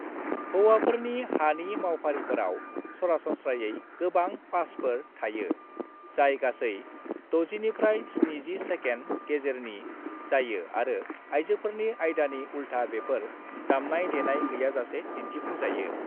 हौवाफोरनि हानि मावफारिफोराव सरासनस्रायै गोबां पासफोर थायो, जाय गासै 60-70 सेकेन्ड गेजेरनि जायो आरो आयजोफोरनि आयदानि उल्था बेफोर दामनाय-देनाय गैयाजासे दिन्थिफुंजायो।